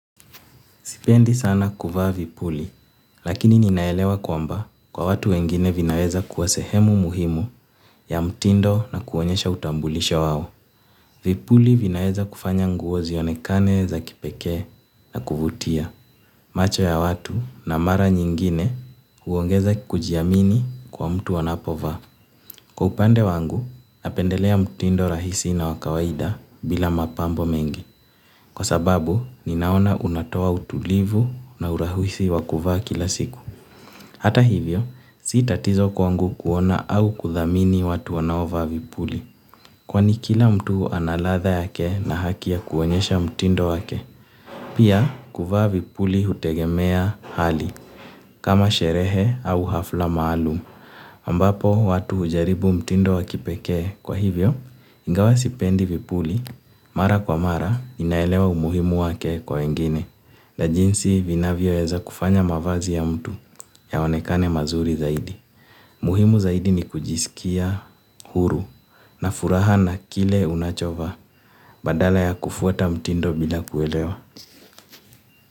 Sipendi sana kuvaa vipuli, lakini ninaelewa kwamba kwa watu wengine vinaweza kuwa sehemu muhimu ya mtindo na kuonyesha utambulisho wao. Vipuli vinaweza kufanya nguo zionekane za kipekee na kuvutia. Macho ya watu na mara nyingine huongeza kujiamini kwa mtu anapovaa. Kwa upande wangu, napendelea mtindo rahisi na wa kawaida bila mapambo mengi. Kwa sababu ninaona unatoa utulivu na urahisi wa kuvaa kila siku hata hivyo si tatizo kwangu kuona au kuthamini watu wanaovaa vipuli. Kwani kila mtu ana ladha yake na haki ya kuonyesha mtindo wake. Pia, kuvaa vipuli hutegemea hali. Kama sherehe au hafla maalumu ambapo watu hujaribu mtindo wa kipekee kwa hivyo ingawa sipendi vipuli mara kwa mara ninaelewa umuhimu wake kwa wengine na jinsi vinavyoweza kufanya mavazi ya mtu yaonekane mazuri zaidi. Muhimu zaidi ni kujisikia huru na furaha na kile unachovaa badala ya kufuata mtindo bila kuelewa.